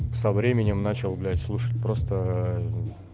со временем начал блять слушать просто